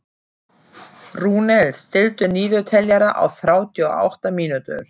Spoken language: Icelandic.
Rúnel, stilltu niðurteljara á þrjátíu og átta mínútur.